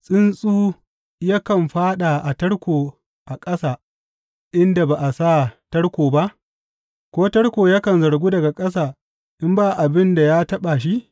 Tsuntsu yakan fāɗa a tarko a ƙasa inda ba a sa tarko ba, ko tarko yakan zargu daga ƙasa in ba abin da ya taɓa shi?